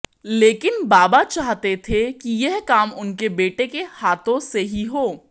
लेकिन बाबा चाहते थे कि यह काम उनके बेटे के हाथों से ही हो